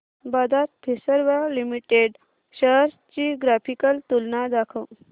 Bajaj Finserv limited shares ची graphical तुलना दाखव